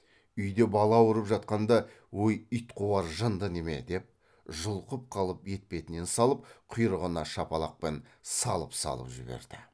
үйде бала ауырып жатқанда өй итқуар жынды неме деп жұлқып қалып етпетінен салып құйрығына шапалақпен салып салып жіберді